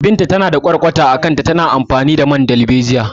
Binta na da ƙwarƙwata a kanta, tana amfani da man dalbejiya.